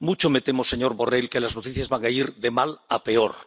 Mucho me temo, señor Borrell, que las noticias van a ir de mal a peor.